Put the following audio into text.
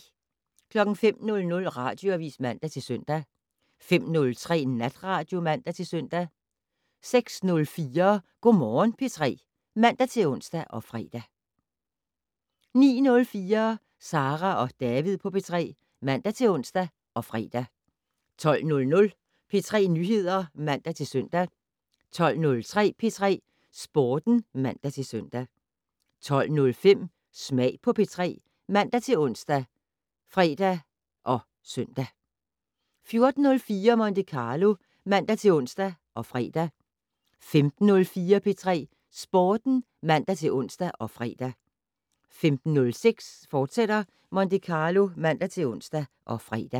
05:00: Radioavis (man-søn) 05:03: Natradio (man-søn) 06:04: Go' Morgen P3 (man-ons og fre) 09:04: Sara og David på P3 (man-ons og fre) 12:00: P3 Nyheder (man-søn) 12:03: P3 Sporten (man-søn) 12:05: Smag på P3 ( man-ons, fre, -søn) 14:04: Monte Carlo (man-ons og fre) 15:04: P3 Sporten (man-ons og fre) 15:06: Monte Carlo, fortsat (man-ons og fre)